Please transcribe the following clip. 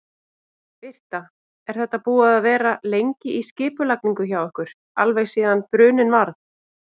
Birta: Er þetta búið að vera lengi í skipulagningu hjá ykkur, alveg síðan bruninn varð?